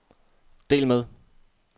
del med